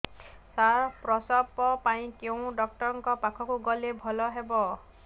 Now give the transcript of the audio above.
ସାର ପ୍ରସବ ପାଇଁ କେଉଁ ଡକ୍ଟର ଙ୍କ ପାଖକୁ ଗଲେ ଭଲ ହେବ